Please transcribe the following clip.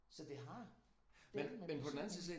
Så det har dæleme en betydning